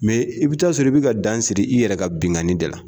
i bɛ taa sɔrɔ i bɛ ka dan siri i yɛrɛ ka binnkanni da la